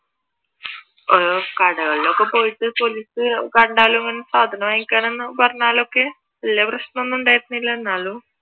കടകളിൽ ഒക്കെ പോയിട്ട് പോലീസ് കണ്ടാലും സാധനം വാങ്ങിക്കാൻ ആന്ന് പറഞ്ഞാലൊക്കെ വല്യ പ്രശ്നം ഒന്നും ഉണ്ടായിരുന്നില്ല എന്നാലും